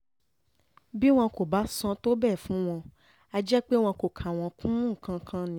bí wọn kò bá sàn tó bẹ́ẹ̀ fún wọn á jẹ́ pé wọn kò kà wọ́n kún nǹkan kan nìyẹn